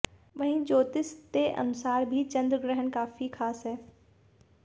वहीं ज्योतिष ते अनुसार भी चंद्र ग्रहण काफी खास है